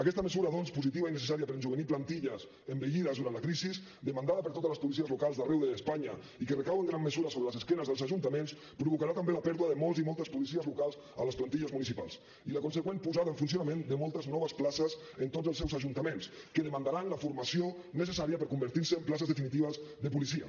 aquesta mesura doncs positiva i necessària per rejovenir plantilles envellides durant la crisi demandada per totes les policies locals d’arreu d’espanya i que recau en gran mesura sobre l’esquena dels ajuntaments provocarà també la pèrdua de molts i moltes policies locals a les plantilles municipals i la consegüent posada en funcionament de moltes noves places en tots els seus ajuntaments que demandaran la formació necessària per convertir se en places definitives de policia